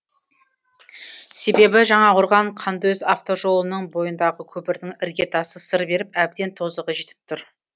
себебі жаңақорған қандөз автожолының бойындағы көпірдің іргетасы сыр беріп әбден тозығы жетіп тұр